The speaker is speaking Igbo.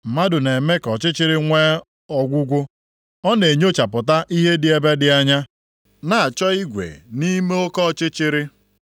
Mmadụ na-eme ka ọchịchịrị nwee ọgwụgwụ; ọ na-enyochapụta ihe dị ebe dị anya, na-achọ igwe nʼime oke ọchịchịrị.